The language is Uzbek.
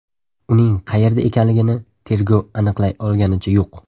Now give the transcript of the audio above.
Uning qayerda ekanligini tergov aniqlay olganicha yo‘q.